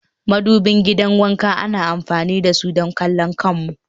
madubin gidan wanka ana amfani da su don kallon kanmu